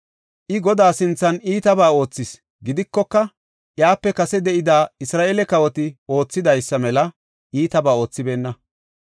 I, Godaa sinthan iitabaa oothis; gidikoka, iyape kase de7ida Isra7eele kawoti oothidaysa mela iitabaa oothibeenna.